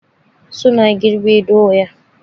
suna girbe doya.